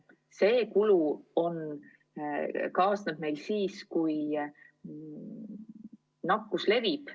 See kulu kaasneb meil siis, kui nakkus levib.